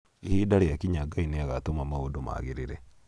ihinda riakinya Ngai nĩagatũma maũndũ maagirire